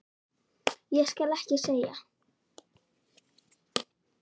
Ég skal ekki segja.